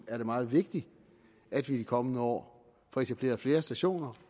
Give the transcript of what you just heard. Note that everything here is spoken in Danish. er meget vigtigt at vi i de kommende år får etableret flere stationer